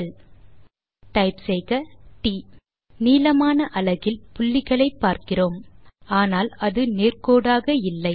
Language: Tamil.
எல் ட் நீளமான அலகில் புள்ளிகளை பார்க்கிறோம் ஆனால் அது நேர் கோடாக இல்லை